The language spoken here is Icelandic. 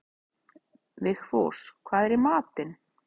Vigfús, hvað er í matinn?